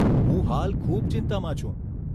હું હાલ ખૂબ ચિંતામાં છું.